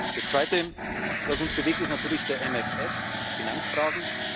Das Zweite, was uns bewegt, ist natürlich der MFR die Finanzfragen.